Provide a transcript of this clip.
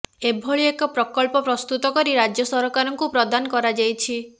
ଏଭଳି ଏକ ପ୍ରକଳ୍ପ ପ୍ରସ୍ତୁତ କରି ରାଜ୍ୟ ସରକାରଙ୍କୁ ପ୍ରଦାନ କରାଯାଇଛି